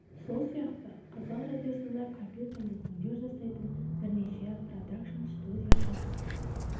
сол сияқты қазақ радиосында компьютерлік өңдеу жасайтын бірнеше продакшн студия жұмыс істейді